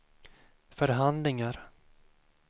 förhandlingar